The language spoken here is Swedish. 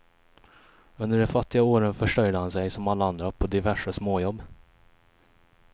Under de fattiga åren försörjde han sig som alla andra på diverse småjobb.